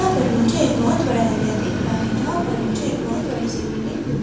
यहां पर मुझे एक बहोत बड़ा एरिया दिख रहा है जहां पर मुझे एक बहोत बड़ी सी बिल्डिंग भी--